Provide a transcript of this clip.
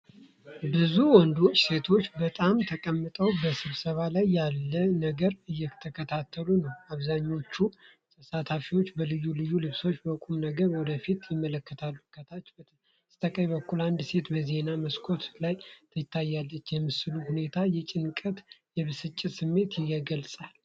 ብዙ ወንዶችና ሴቶች በጥሞና ተቀምጠው በስብሰባ ላይ ያለን ነገር እየተከታተሉ ነው። አብዛኛዎቹ ተሳታፊዎች በልዩ ልዩ ልብሶች በቁም ነገር ወደፊት ይመለከታሉ፤ ከታች በስተቀኝ በኩል አንድ ሴት በዜና መስኮት ውስጥ ትታያለች። የምስሉ ሁኔታ የጭንቀትና የብስጭት ስሜት ያንጸባርቃል።